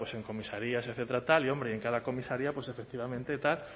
en comisarías etcétera tal y hombre en cada comisaría pues efectivamente tal